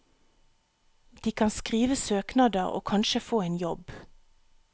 De kan skrive søknader og kanskje få en jobb.